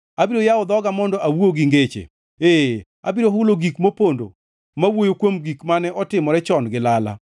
Abiro yawo dhoga mondo awuo gi ngeche, ee, abiro hulo gik mopondo ma wuoyo kuom gik mane otimore chon gi lala.